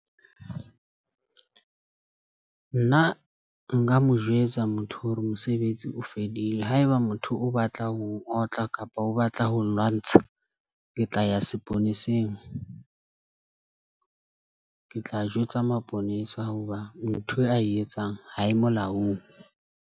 Nna nka mo jwetsa motho hore mosebetsi o fedile. Haeba motho o batla ho n'otla kapa o batla ho nlwantsha. Ke tla ya seponeseng , ke tla jwetsa maponesa hoba ntho a e etsang ha e molaong.